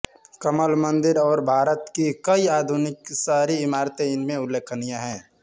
कमल मंदिर और भारत की कई आधुनिक शहरी इमारतें इनमें उल्लेखनीय हैं